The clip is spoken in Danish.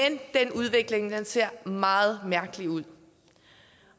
den udvikling ser meget mærkelig ud